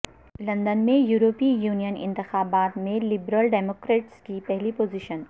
London میں یورپی union انتخابات میں لبرل ڈیموکریٹس کی پہلی پوزیشن